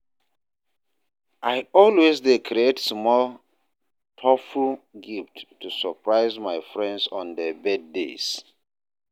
I always dey create small, thoughtful gifts to surprise my friends on their birthdays.